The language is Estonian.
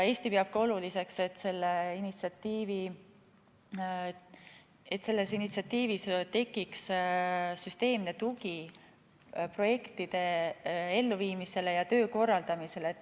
Eesti peab oluliseks, et selles initsiatiivis tekiks süsteemne tugi projektide elluviimisele ja töö korraldamisele.